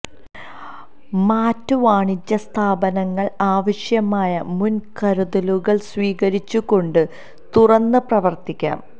മാറ്റ് വാണിജ്യ സ്ഥാപനങ്ങൾ ആവശ്യമായ മുൻ കരുതലുകൾ സ്വീകരിച്ചുകൊണ്ട് തുറന്ന് പ്രവർത്തിക്കാം